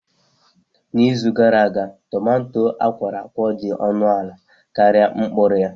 N'izu gara aga, tumato akworakwo dị ọnụ ala karịa mkpụrụ ya.